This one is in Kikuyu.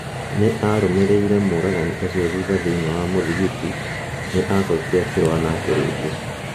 Nĩ aarũmĩrĩire mũragani ũcio thutha thĩinĩ wa muthikiti , Nĩ acokire akĩrũa nake rĩngĩ.